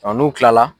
n'u kilala